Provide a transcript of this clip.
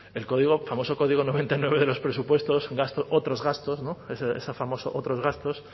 el código famoso código noventa y nueve de los presupuestos otros gastos ese famoso otros gastos